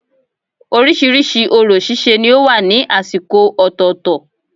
Orísirísi orò síse ni ó wà ní àsìkò ọ̀tọ̀ọ̀tọ̀